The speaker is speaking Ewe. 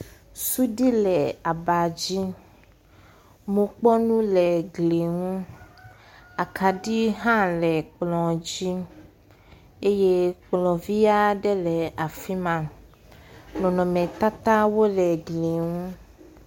Suɖi le aba dzi. Mokpɔnu le gli ŋu. Akaɖi hã le kplɔ̃ dzi. Eye kplɔ̃ vi aɖe le afi ma. Nɔnɔnmetatawo le gli ŋu.